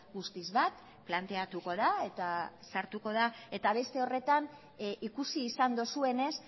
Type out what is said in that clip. guztiz bat planteatuko da eta sartuko da eta beste horretan ikusi izan duzuenez